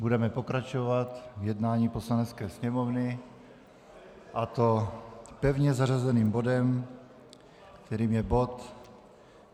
Budeme pokračovat v jednání Poslanecké sněmovny, a to pevně zařazeným bodem, kterým je bod